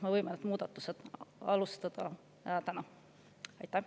Me võime nende muudatuste alustada täna.